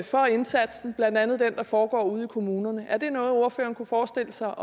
for indsatsen blandt andet den der foregår ude i kommunerne er det noget ordføreren kunne forestille sig